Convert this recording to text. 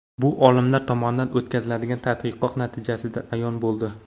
Bu olimlar tomonidan o‘tkazilgan tadqiqot natijasidan ayon bo‘ldi.